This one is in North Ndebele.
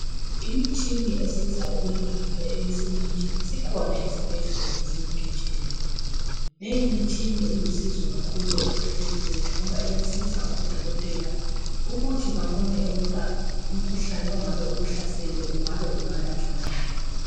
Imitshina esiza ukwelapha eyisemende isikhona ezibhedlela zonke jikelele leyi mitshina eyisizo empilweni yethu ngoba iyasiza odokotela ukuthi babone ukuba umkhuhlane ongabe ukuhlasele ungabe ungalatshwa ngani.